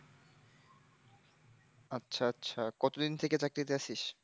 আচ্ছা আচ্ছা কতদিন থেকে চাকরিতে আছিস?